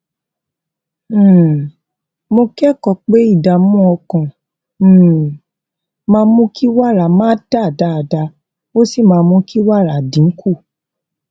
um mo kékòó pé ìdààmú ọkàn um máa mú kí wàrà má dà dáadáa ó sì máa mú kí wàrà dín kù